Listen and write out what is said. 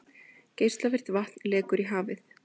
Geislavirkt vatn lekur í hafið